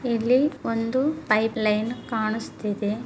ಇಲ್ಲಿ ಒಂದು pipeline ಕಾಣಿಸ್ತಿದೆ.